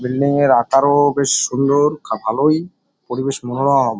Building -এর আকারও বেশ সুন্দর খা ভালই পরিবেশ মনোরম ।